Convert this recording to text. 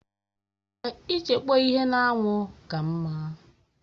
Èè, ịchekpọ ihe n'anwụ ka mma